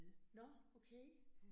Nåh okay